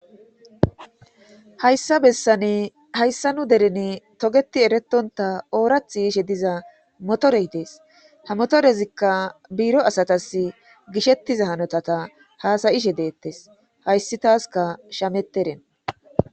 Hayssa bessane hayssa nu derene togeti eretonta oorath yiishe diza motore dees ha motorezikka biiro asatas gishettiza hanotata haasayishe deettes hayssi taaska shameteren.